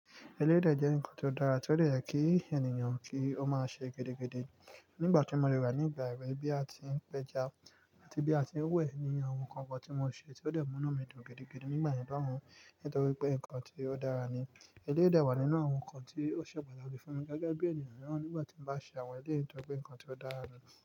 Elédè jẹ́ ǹkan tó dára, tí ó lè kí ènìyàn kí ó máa se gedege nígbà tí mo de wa ní ìgbà èwe bí a ti ń pẹja àti bí a ti ń wẹ̀ ni àwọn nǹkan kan tí mo ṣe tí ó dẹ̀ mú inu mì dùn gidi nígbà yen lohùn nítorí pé nkán tí ó dára ni. Elédè wà nínú àwọn nǹkan tí ó ṣépè ọ̀rọ̀ bí fún mi gẹ́gẹ́ bí ènìyàn mìíràn nígbà tí mo bá ṣe àwọn eléètọ́ pé nǹkan tí ó dára ni.